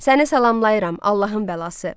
Səni salamlayıram, Allahın bəlası.